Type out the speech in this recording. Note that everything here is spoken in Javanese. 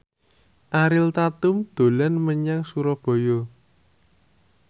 Ariel Tatum dolan menyang Surabaya